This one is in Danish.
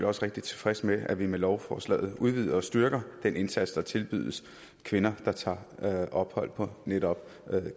også rigtig tilfreds med at vi med lovforslaget udvider og styrker den indsats der tilbydes kvinder der tager ophold på netop